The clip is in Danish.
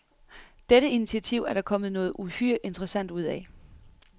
Dette initiativ er der kommet noget uhyre interessant ud af.